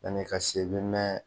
Yan'i ka se i bɛ mɛn